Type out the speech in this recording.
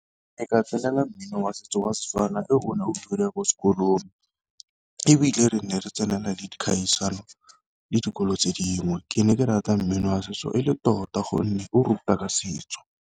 Ne ka tsenela mmino wa setso wa Setswana ko sekolong, ebile re ne re tsenela le dikgaisano le dikolo tse dingwe. Ke ne ke rata mmino wa setso e le tota gonne o ruta ka setso.